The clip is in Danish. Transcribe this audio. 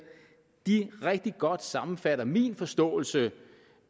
rigtig godt sammenfatter min forståelse